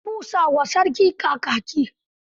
An busa wa sarki kakaki.